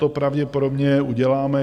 To pravděpodobně uděláme.